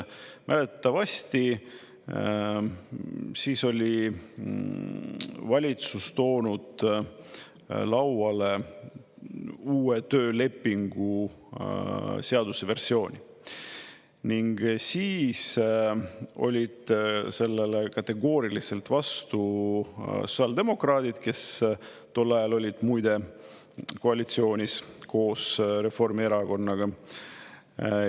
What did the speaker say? Mäletatavasti siis oli valitsus toonud lauale uue töölepingu seaduse versiooni ning siis olid sellele kategooriliselt vastu sotsiaaldemokraadid, kes tol ajal olid muide koalitsioonis koos Reformierakonnaga.